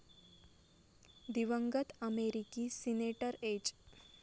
दिवंगत अमेरिकी senator H.